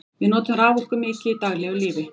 við notum raforku mikið í daglegu lífi